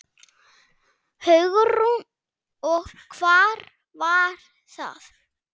Hugrún: Og hvar var það?